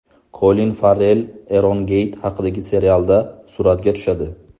Kolin Farrell Erongeyt haqidagi serialda suratga tushadi.